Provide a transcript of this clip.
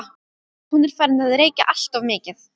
Hún er farin að reykja alltof mikið.